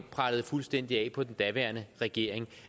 prellede fuldstændig af på den daværende regering